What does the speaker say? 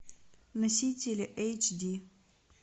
носители эйч ди